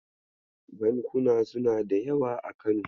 Bankuna suna da yawa a Kano.